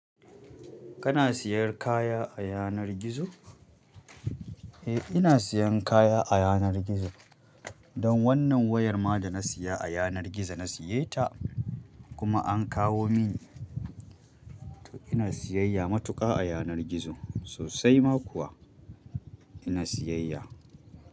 Kana siyan kaya a yanar gizo? Eh ina siyan kaya a yanar gizo. Don wannan wayar ma da na saya a yanar gizo na siye ta kuma an kawo min. To ina siyayya matuƙa a yanar gizo sosai ma kuwa ina siyayya.